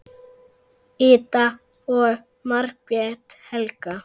Ida og Margrét Helga.